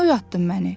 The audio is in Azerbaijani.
Niyə oyatdın məni?